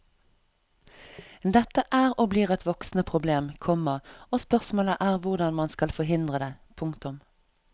Dette er og blir et voksende problem, komma og spørsmålet er hvordan man skal forhindre det. punktum